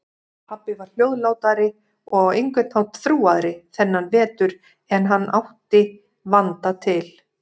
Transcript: Pabbi var hljóðlátari og á einhvern hátt þrúgaðri þennan vetur en hann átti vanda til.